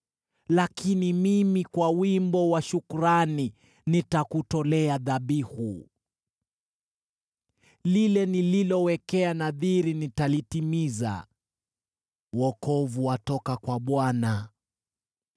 Lakini mimi, kwa wimbo wa shukrani, nitakutolea dhabihu. Lile nililowekea nadhiri nitalitimiza. Wokovu watoka kwa Bwana .”